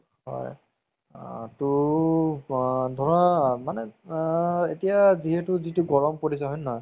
হয় আ ধৰা মানে আ এতিয়া যিহেতু গৰম পৰিছে হয় নে নহয়